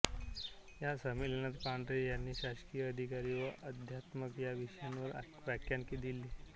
या संमेलनात पांढरे यांनी शासकीय अधिकारी व अध्यात्म या विषयावर व्याख्यान दिले